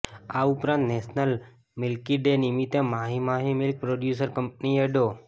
આ ઉપરાંત national milk day નિમિતે માહી માહી મિલ્ક પ્રોડયુસર કંપનીએ ડો